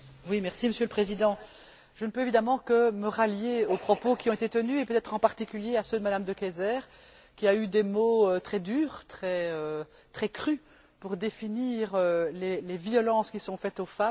Monsieur le Président, je ne peux évidemment que me rallier aux propos qui ont été tenus, et peut être en particulier à ceux de Mme De Keyser, qui a eu des mots très durs, très crus pour définir les violences qui sont faites aux femmes.